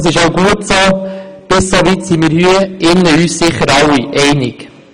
Das ist auch gut so, und bis hierhin sind wir uns sicher auch alle einig.